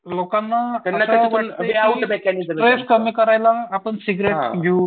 लोकांना असं वाटतं की स्ट्रेस कमी करायला आपण सिगरेट घेऊ